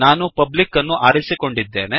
ನಾನು ಪಬ್ಲಿಕ್ ಅನ್ನು ಆರಿಸಿಕೊಂಡಿದ್ದೇನೆ